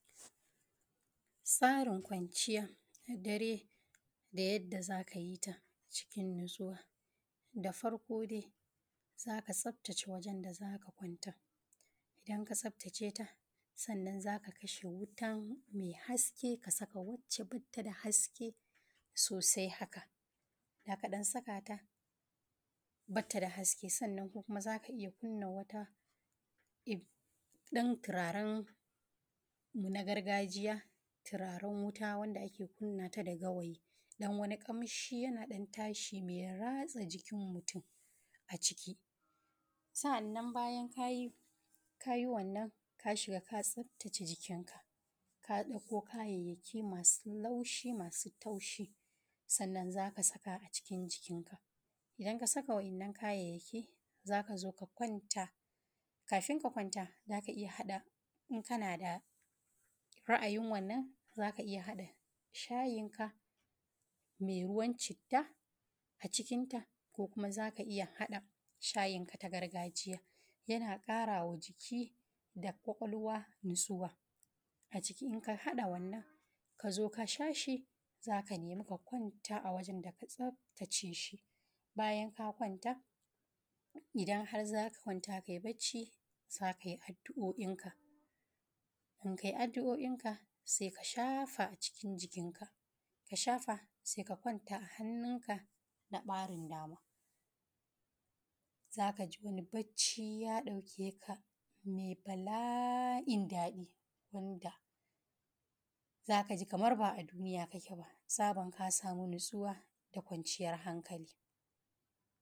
audio-(30-16) acikin yankunanmu akwai wasu hanyoyi na zamani da ake amfani dasu wajen kula da dabbobi kiwo kamar kaza kifi da zomo ga wasu daga cikinsu wannan tsarin guri wannan yana nufi ana kiwon kaza acikin wurare da ba’a rufesu ba wanda ke bas u damar motsa jiki da samun isashshen iska bincike na binci ana amfani da ingantattun abinci da suka dace da bukatun kaza na inganta lafiyarsu da kuma samun Karin yawa yawan kaza cikin lokaci mai gajarta noman kifi noman kifi wannan tsarin yana baiwa masu noman kifi daman sarrafa ruwa mai kyau acikin tukunyan kiwo wanda yake taimakawa wajen rage yawan amfani da ruwa shuka kifi acikin teku awasu lokutan ana amfani da tukunyar kifi acikin teku ninda ake kula da yanayin ruwa da sauran abubvuwan da suka shafi lafiyar kifi nomar zomo nomar zomo ko kyakkyawan tsarin gado ana amfani da gado mai kyau da tsafta dan karfafa lafiyar zomo inda suke samun dakin daukaka da kuma isashshen abinci zan ciyar da zomo akwai kulawa wajen tsara abincin zomo wanda ke dauke da sinadarai masu amfani wajen samun karnuka masu lafiya da kyau